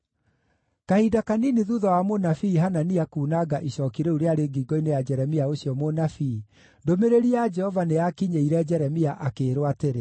Kahinda kanini thuutha wa mũnabii Hanania kuunanga icooki rĩu rĩarĩ ngingo-inĩ ya Jeremia ũcio mũnabii, ndũmĩrĩri ya Jehova nĩyakinyĩire Jeremia akĩĩrwo atĩrĩ: